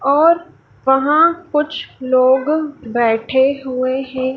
और वहां कुछ लोग बैठे हुए हैं।